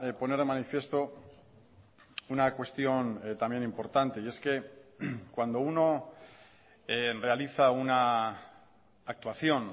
poner de manifiesto una cuestión también importante y es que cuando uno realiza una actuación